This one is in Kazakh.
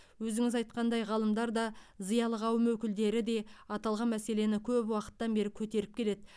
өзіңіз айтқандай ғалымдар да зиялы қауым өкілдері де аталған мәселені көп уақыттан бері көтеріп келеді